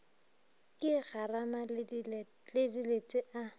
ka garama le dilete a